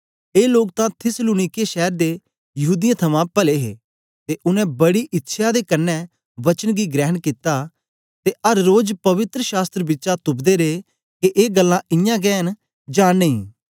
ए लोग तां थिस्सलुनीके शैर दे यहूदीयें थमां पले हे ते उनै बड़ी इच्छया दे कन्ने वचन गी ग्रहण कित्ता ते अर रोज पवित्र शास्त्र बिचा तुपदे रे के ए गल्लां इयां गै न जां नेई